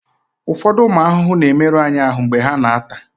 ụfọdụ ụmụ ahụhụ na-emerụ anyị ahụ mgbe ha na-ata